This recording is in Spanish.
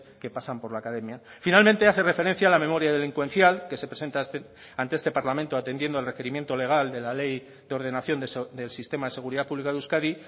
que pasan por la academia finalmente hace referencia a la memoria delincuencial que se presenta ante este parlamento atendiendo al requerimiento legal de la ley de ordenación del sistema de seguridad pública de euskadi